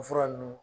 O fura nunnu